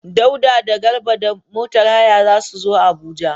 Dauda da Garba da motar haya za su zo Abuja.